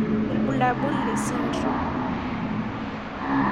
Ibulabul le 49,XXXXX syndrome.